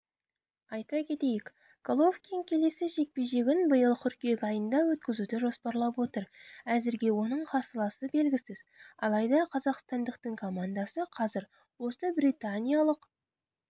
айта кетейік головкин келесі жекпе-жегін биыл қыркүйек айында өткізуді жоспарлап отыр әзірге оның қарсыласы белгісіз алайда қазақстандықтың командасы қазір осы британиялық